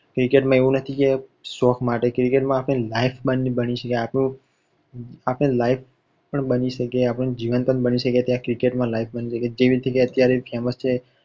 cricket માં આવું નથી કે શોખ માટે cricket માં આપણી life બની શકે જીવન પણ બની શકે જેવી રીતે અત્યાર famous છે.